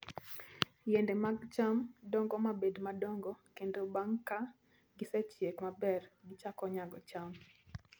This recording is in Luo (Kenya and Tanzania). Yiende mag cham dongo mabed madongo kendo bang' ka gisechiek maber, gichako nyago cham.